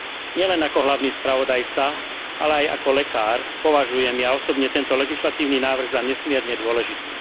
Nielen ako hlavný spravodajca, ale aj ako lekár, považujem ja osobne tento legislatívny návrh za nesmierne dôležitý.